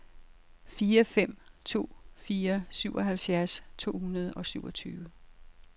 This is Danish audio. fire fem to fire syvoghalvfjerds to hundrede og syvogtyve